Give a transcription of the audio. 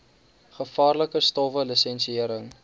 gevaarlike stowwe lisensiëring